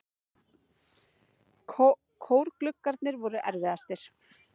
Kórgluggarnir voru erfiðastir.